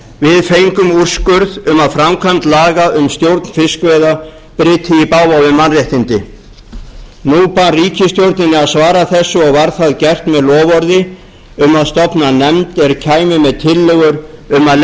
við fengum úrskurð um að framkvæmd laga um stjórn fiskveiða bryti í bága við mannréttindi nú bar ríkisstjórninni að svara þessu og var það gert með loforði um að stofna nefnd er kæmi með tillögur um að